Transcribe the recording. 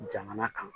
Jamana kan